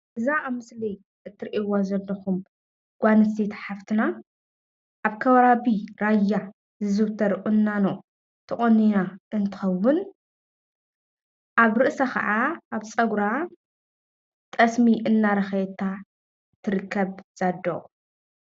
እዛ ኣብ ምስሊ እትሪእዋ ዘለኹም ጓል ኣንስተይቲ ሓፍትና ኣብ ከባቢ ራያ ዝዝውተር ቁናኖ ተቆኒና እንትኸውን ኣብ ርእሳ ኸዓ ኣብ ፀጉራ ኸዓ ጠስሚ እናለኸየታ ትርከብ እዛ ኣዶ፡፡